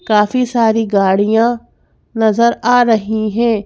काफी सारी गाड़ियां नजर आ रही है।